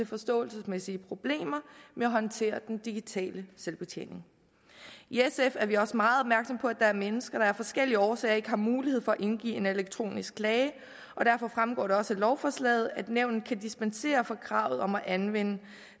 forståelsesmæssige problemer med at håndtere den digitale selvbetjening i sf er vi også meget opmærksomme på at der er mennesker der af forskellige årsager ikke har mulighed for at indgive en elektronisk klage og derfor fremgår det også af lovforslaget at nævnet kan dispensere fra kravet om at anvende